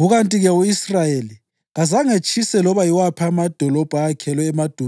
Ngakho izizukulwane zika-Aroni umphristi bazinika iHebhroni (idolobho lokuphephela kwalabo